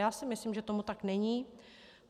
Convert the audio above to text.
Já si myslím, že tomu tak není.